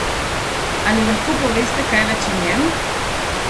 Ali lahko poveste kaj več o njem?